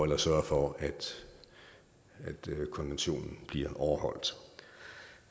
der sørger for at konventionen bliver overholdt